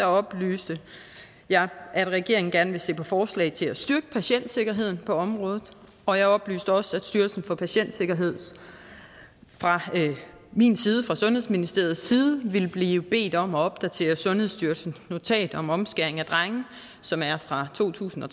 oplyste jeg at regeringen gerne vil se på forslag til at styrke patientsikkerheden på området og jeg oplyste også at styrelsen for patientsikkerhed fra min side fra sundhedsministeriets side ville blive bedt om at opdatere sundhedsstyrelsens notat om omskæring af drenge som er fra to tusind og